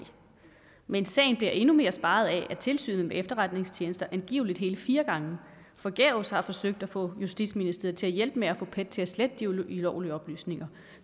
men sagen bliver endnu mere speget af at tilsynet med efterretningstjenesterne angiveligt hele fire gange forgæves har forsøgt at få justitsministeren til at hjælpe med at få pet til at slette de ulovlige oplysninger